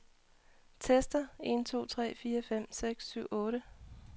Tester en to tre fire fem seks syv otte.